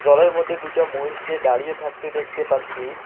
জলের মধ্যে দুইটা মহিষকে দাঁড়িয়ে থাকতে দেখতে পাচ্ছি।